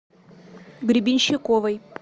гребенщиковой